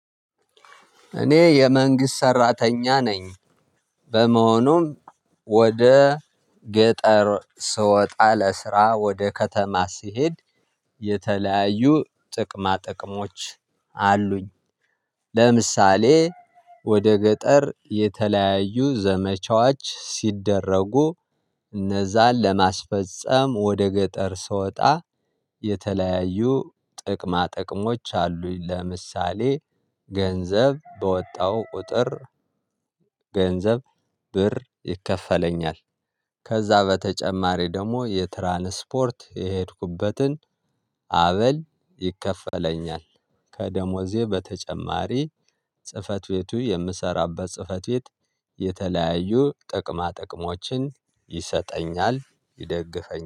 እኔ የመንግስት ሰራተኛ ነኝ። በመሆኑም ወደ ገጠር ስወጣ ለስራ ወደ ከተማ ስሄድ የተለያዩ ጥቅማ ጥቅሞች አሉኝ። ለምሳሌ ወደ ገጠር የተለያዩ ዘመቻዎች ሲደረጉ እነዛን ለማስፈፀም ወደ ገጠር ስወጣ የተለያዩ ጥቅማ ጥቅሞች አሉኝ ለምሳሌ ገንዘብ በወጣው ቁጥር ገንዘብ ብር ይከፈለኛል። ከዛ በተጨማሪ ደግሞ የትራንስፖርት የሄድኩበትን አበል ይከፈለኛል። ከደሞዜ በተጨማሪ ጽህፈት ቤቱ የምሰራበት ጽህፈት ቤት የተለያዩ ጥቅማ ጥቅሞችን ይሰጠኛል ይደግፈኛል